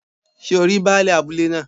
Sé o rí baálẹ̀ abúlé náà